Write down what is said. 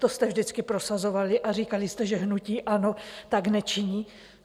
To jste vždycky prosazovali a říkali jste, že hnutí ANO tak nečiní.